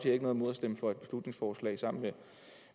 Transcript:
ikke noget imod at stemme for et beslutningsforslag sammen med